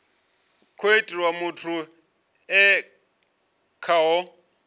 khou itiwa muthu e khaho